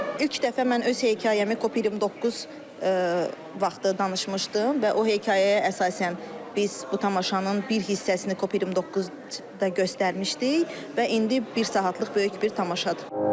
İlk dəfə mən öz hekayəmi COP29 vaxtı danışmışdım və o hekayəyə əsasən biz bu tamaşanın bir hissəsini COP29-da göstərmişdik və indi bir saatlıq böyük bir tamaşadır.